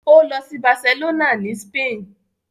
Ó lọ sí Barcelona ni Spain.